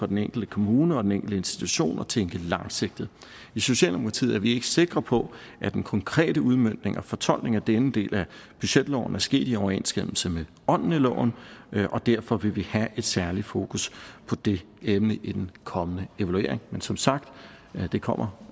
den enkelte kommune og den enkelte institution at tænke langsigtet i socialdemokratiet er vi ikke sikre på at den konkrete udmøntning og fortolkning af denne del af budgetloven er sket i overensstemmelse med ånden i loven og derfor vil vi have et særligt fokus på det emne i den kommende evaluering men som sagt det kommer